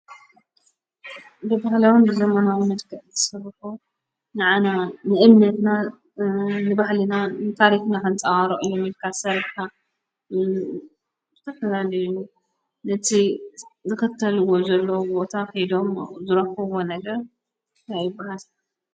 ብብህለዎም ብዘመናዊነድቀ ዘትሠርሑ ንኣና ንእምነትና ንባሕሊና ንታሪኽና ሕንፃዋሮ እዮሚልካ ሠርካ ሙዘተፍለኒ ነቲ ዘኽተልዎ ዘሎ ቦታ ኺዶም ዘረኽዎ ነገር ናይብራት።